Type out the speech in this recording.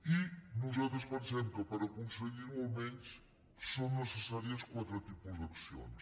i nosaltres pensem que per aconseguir·ho almenys són necessàries quatre tipus d’accions